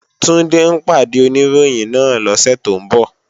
Túndé ń pàdé Oníròyìn náà lọ́sẹ̀ tó ń bọ̀